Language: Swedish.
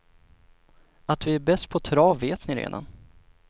Att vi är bäst på trav vet ni redan.